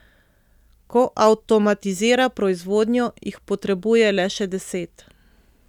Ko avtomatizira proizvodnjo, jih potrebuje le še deset.